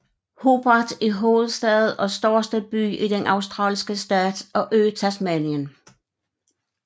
Hobart er hovedstad og største by i den australske stat og ø Tasmanien